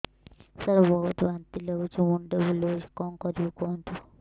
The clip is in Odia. ସାର ବହୁତ ବାନ୍ତି ଲାଗୁଛି ମୁଣ୍ଡ ବୁଲୋଉଛି କଣ କରିବି କୁହନ୍ତୁ